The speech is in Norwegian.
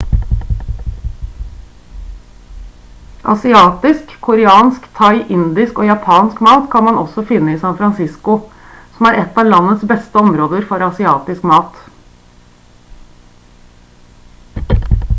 asiatisk koreansk thai indisk og japansk mat kan man også finne i san francisco som er et av landets beste områder for asiatisk mat